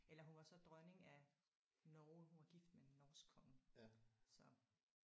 Eller hun var så dronning af Norge hun var gift med en norsk konge så